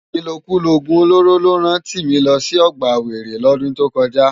Ilókúló ógún ólóró ló rán Timi lò si ògbá wéré lòdún tókòjá